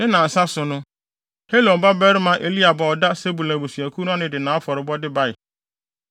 Ne nnansa so no, Helon babarima Eliab a ɔda Sebulon abusuakuw ano no de nʼafɔrebɔde bae.